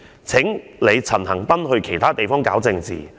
請你陳恆鑌去其他地方搞政治！